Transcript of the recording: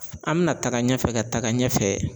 An bɛna taga ɲɛfɛ ka taa ɲɛfɛ